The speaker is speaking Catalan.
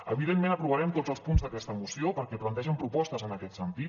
evidentment aprovarem tots els punts d’aquesta moció perquè plantegen propostes en aquest sentit